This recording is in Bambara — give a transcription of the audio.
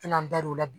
N'an dar'o la